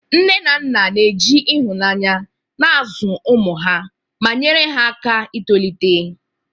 Ndị nne na nna na-eji ịhụnanya na-azụ ụmụ ha, ma nyere ha aka itolite.